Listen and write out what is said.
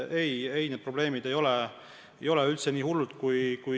Ei, need probleemid ei ole üldse nii hullud.